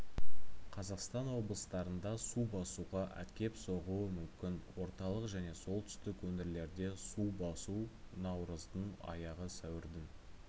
қазақстан облыстарында су басуға әкеп соғуы мүмкін орталық және солтүстік өңірлерде су басу наурыздың аяғы сәуірдің